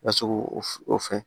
Lasigi o fɛ